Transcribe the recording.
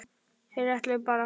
Þeir ætluðu bara.